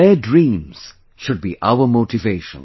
Their dreams should be our motivation